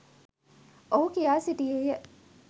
ඔහු කියා සිටියේය.